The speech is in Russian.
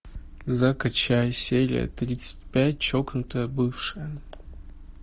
закачай серия тридцать пять чокнутая бывшая